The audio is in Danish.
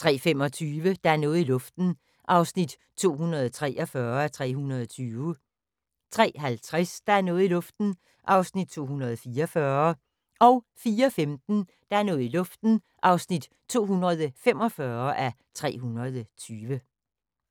03:25: Der er noget i luften (243:320) 03:50: Der er noget i luften (244:320) 04:15: Der er noget i luften (245:320)